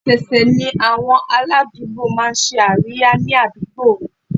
Ọ̀sẹ̀ ọ̀sẹ̀ ni àwọn aládùúgbò máa ń ṣe àríyá ni àdúgbò mi